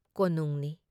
ꯀꯣꯅꯨꯡꯅꯤ ꯫